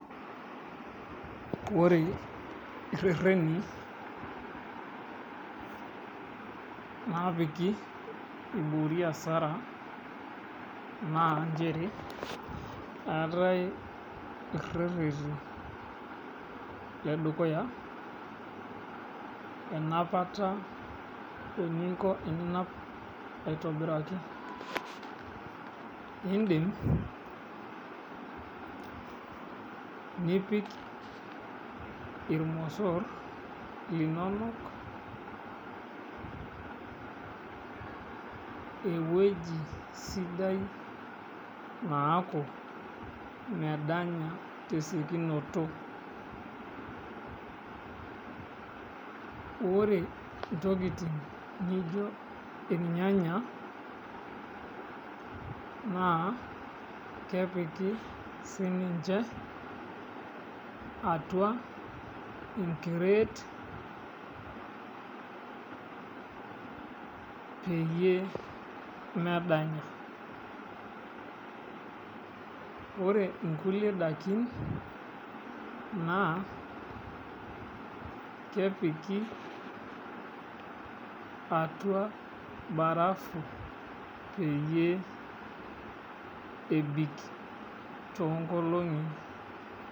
Ore rreteni naapiki eiboori asara náa inchere eatae rreteni edukuya enapata eninko eninap aitobiraki, indim nipik ilmosorr linono eweji sidai naaku medanya te siokunoto, ore intokitin nijo ilnyanya na kepiki sii ninche atua inkireet peyie emedanya, ore inkule dakin naa kepiki atua imbarafu peyie ebik too inkolong'i.